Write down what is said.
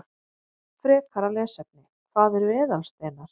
Frekara lesefni: Hvað eru eðalsteinar?